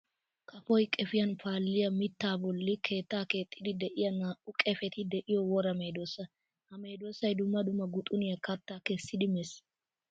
Kafoy qefiyan paaliya mitta bolli keetta keexxiddi de'iya naa'u qefetti de'iyo wora medosa. Ha medosay dumma dumma guxxuniya katta kessiddi meesi.